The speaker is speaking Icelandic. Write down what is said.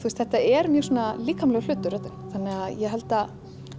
þetta er mjög svona líkamlegur hlutur þannig að ég held að